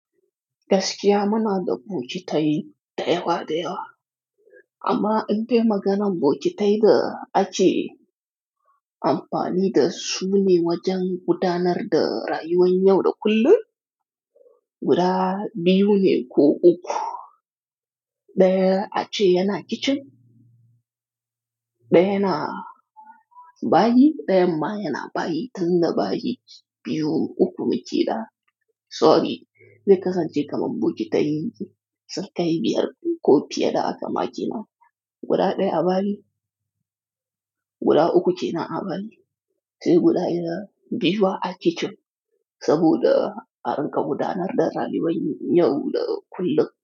Gaskiya muna da bokitai da yawa da yawa, amma in bai maganan bokitai da ake amfani da su ne wajen gudanar da rayuwan yau da kullum, guda biyu ne ko uku. Ɗaya ake yana kicin, ɗaya yana bayi, ɗayan ma yana bayi. Tunda bayi biyu uku muke da sorry zai kasance kaman bokitai, sunkai biyar ko fiye da aka maƙe na guda ɗaya a bayi, guda uku ce na a bayi. Sai guda yana biyu a kicin, saboda a riƙa gudanar da rayuwan yau da kullum.